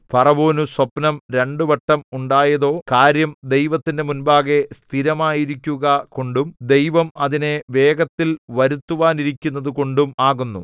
ഫറവോനു സ്വപ്നം രണ്ടുവട്ടം ഉണ്ടായതോ കാര്യം ദൈവത്തിന്റെ മുമ്പാകെ സ്ഥിരമായിരിക്കുക കൊണ്ടും ദൈവം അതിനെ വേഗത്തിൽ വരുത്തുവാനിരിക്കുന്നതു കൊണ്ടും ആകുന്നു